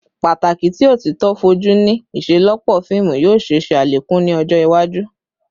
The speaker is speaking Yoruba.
Pataki ti otito foju ni iṣelọpọ fiimu yoo ṣee ṣe alekun ni ọjọ iwaju